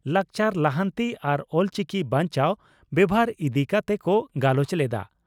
ᱞᱟᱠᱪᱟᱨ ᱞᱟᱦᱟᱱᱛᱤ ᱟᱨ ᱚᱞᱪᱤᱠᱤ ᱵᱟᱧᱪᱟᱣ ᱵᱮᱵᱷᱟᱨ ᱤᱫᱤ ᱠᱟᱛᱮ ᱠᱚ ᱜᱟᱞᱚᱪ ᱞᱮᱫᱼᱟ ᱾